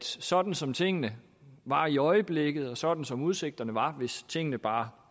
sådan som tingene var i øjeblikket og sådan som udsigterne var hvis tingene bare